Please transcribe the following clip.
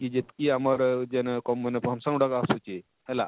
ଯେତକି ଆମର ଇ ଯେନ function ଗୁଡାକ ଆସୁଛେ ହେଲା